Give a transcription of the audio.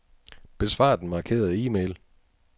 Besvar den markerede e-mail.